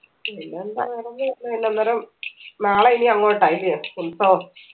പിന്നെന്താ വേറൊന്നില്ല പിന്നെന്നരം നാളെ ഇനി അങ്ങോട്ടാ അല്ല്യോ